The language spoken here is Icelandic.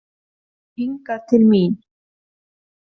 Já hingað til mín.